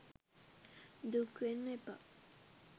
දුක් වෙන්න එපා